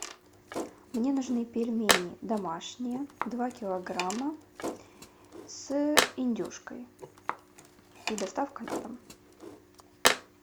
мне нужны пельмени домашние два килограмма с индюшкой и доставкой на дом